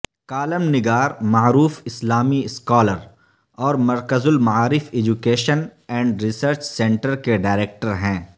column نگار معروف اسلامی اسکالر اور مرکزالمعارف ایجوکیشن اینڈ ریسرچ سینٹر کے ڈائریکٹر ہیں